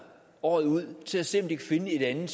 året ud til at se om de kan finde et andet